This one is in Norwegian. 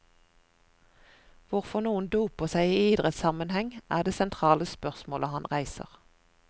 Hvorfor noen doper seg i idrettssammenheng, er det sentrale spørsmål han reiser.